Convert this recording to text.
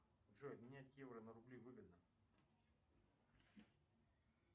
джой менять евро на рубли выгодно